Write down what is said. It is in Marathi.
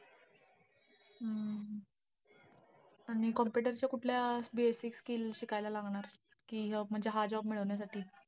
हम्म आणि computer च्या कुठल्या basic skill शिकायला लागणार आहेत, कि अं म्हणजे हा job मिळवण्यासाठी?